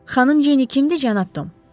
Xanım Jenny kimdir, cənab Tom?